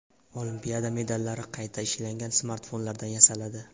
Olimpiada medallari qayta ishlangan smartfonlardan yasaladi.